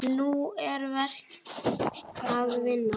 Nú er verk að vinna.